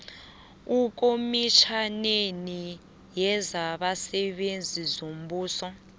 ekomitjhaneni yezabasebenzi bombuso